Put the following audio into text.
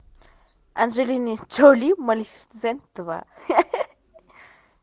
анджелина джоли малефисента два